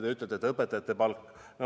Rääkisite ka õpetajate palgast.